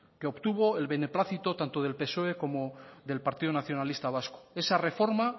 que obtuvo el beneplácito tanto del psoe como del partido nacionalista vasco esa reforma